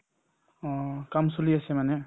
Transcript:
অ, কাম চলি আছে মানে